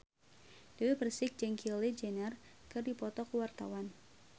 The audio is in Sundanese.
Dewi Persik jeung Kylie Jenner keur dipoto ku wartawan